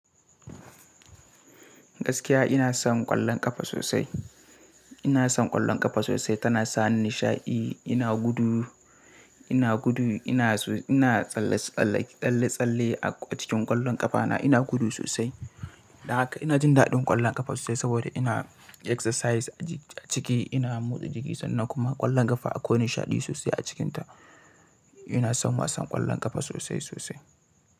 Gaskiya ina son ƙwallon ƙafa sosai. Ina son ƙwallon ƙafa sosai tana sani nishaɗi. Ina gudu, ina gudu, ina tsalle-tsalle a cikin ƙwallon ƙafa na, ina gudu sosai. Da haka ina jin daɗin ƙwallon ƙafa sosai saboda ina exercise a ciki, ina motsa jiki sannan kuma ƙwallon ƙafa akwai nishaɗi sosai a cikinta. Ina son wasan ƙwallon ƙafa sosai sosai.